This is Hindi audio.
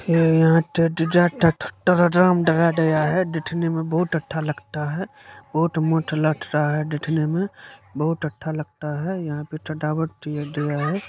दिठने में बोट अठ्ठा लगटा है बहुत मसठ लागता है दिखने में बहुत अच्छा लगता है यहाँ पे सजावट किया गया है।